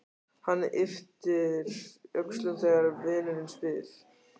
Hann ypptir öxlum þegar vinurinn spyr.